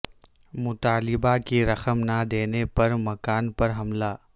مطالبہ کی رقم نہ دینے پر مکان پر حملہ